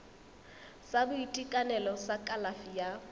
sa boitekanelo sa kalafi ya